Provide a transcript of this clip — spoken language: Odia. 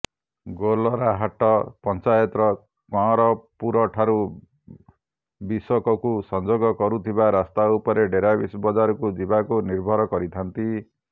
ଗୋଲରାହାଟ ପଂଚାୟତର କଅଁରପୂରଠାରୁ ବିଶୋକକୁ ସଂଯୋଗ କରୁଥିବା ରାସ୍ତା ଉପରେ ଡେରାବିଶ ବଜାରକୁ ଯିବାକୁ ନିର୍ଭର କରିଥାନ୍ତି